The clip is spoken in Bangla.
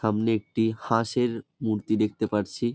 সামনে একটি হাঁসের মূর্তি দেখতে পারছি।